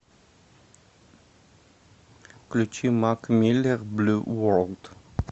включи мак миллер блю ворлд